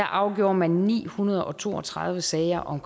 afgjorde man ni hundrede og to og tredive sager om